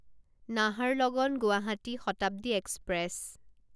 Naharlagun Guwahati Shatabdi express